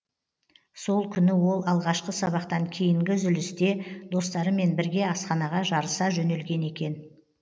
сол күні ол алғашқы сабақтан кейінгі үзілісте достарымен бірге асханаға жарыса жөнелген екен